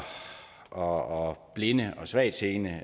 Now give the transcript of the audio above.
og blinde og svagtseende